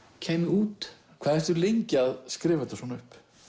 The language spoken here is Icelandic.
kæmi út hvað ertu lengi að skrifa þetta svona upp